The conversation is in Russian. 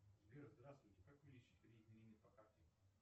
сбер здравствуйте как увеличить кредитный лимит по карте